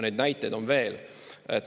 Neid näiteid on veel.